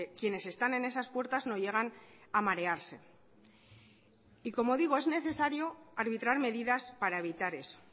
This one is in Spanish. quienes están en esas puertas no llegan a marearse y como digo es necesario arbitrar medidas para evitar eso